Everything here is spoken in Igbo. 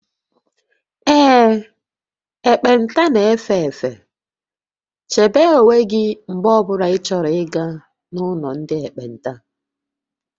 Ee, ekpenta na-efe efe, chebe onwe gị mgbe ọ bụla ịchọrọ ịga n'ụlọ ndị ekpenta